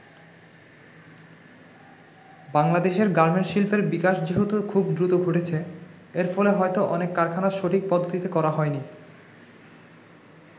বাংলাদেশের গার্মেন্টস শিল্পের বিকাশ যেহেতু খুব দ্রুত ঘটেছে, এর ফলে হয়তো অনেক কারখানা সঠিক পদ্ধতিতে করা হয় নি।